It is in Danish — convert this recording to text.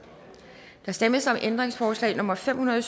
der stemmes om ændringsforslag nummer fem hundrede og